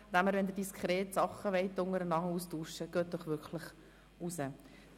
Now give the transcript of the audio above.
Wenn Sie sich diskret austauschen wollen, bitte ich Sie, dafür nach draussen zu gehen.